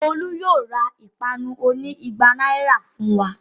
Olú yóò ra ìpanu oní igba náírà fún wa.